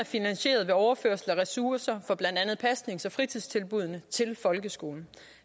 finansieret ved overførsler af ressourcer fra blandt andet pasnings og fritidstilbuddene til folkeskolen